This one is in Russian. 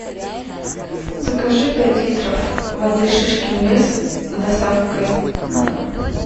закажи пять литров воды шишкин лес с доставкой на дом